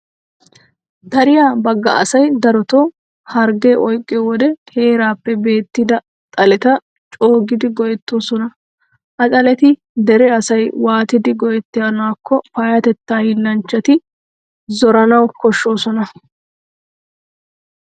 Dariya bagga asay darotoo harggee oyqqiyo wode heeraappe beettida xaleta coogidi go"ettoosona. Ha xaleta dere asay waatidi go"ettanaakko payyatettaa hiillanchchati zoranawu koshshoosona.